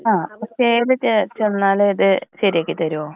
ആ അക്ഷയിൽ ചെ ചെന്നാലും ഇത് ശരിയാക്കി തരോ?